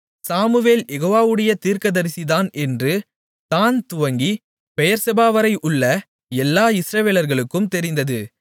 Samuel யெகோவாவுடைய தீர்க்கதரிசிதான் என்று தாண் துவங்கி பெயெர்செபாவரை உள்ள எல்லா இஸ்ரவேலர்களுக்கும் தெரிந்தது